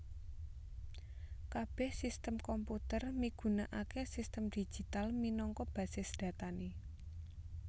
Kabèh sistem komputer migunakaké sistem digital minangka basis datané